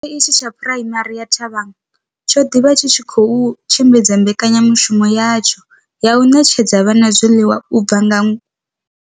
Tshikolo itshi tsha Phuraimari ya Thabang tsho ḓi vha tshi tshi khou tshimbidza mbekanyamushumo yatsho ya u ṋetshedza vhana zwiḽiwa u bva nga ṅwa.